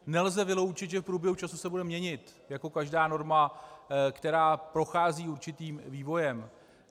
Nelze vyloučit, že v průběhu času se bude měnit, jako každá norma, která prochází určitým vývojem.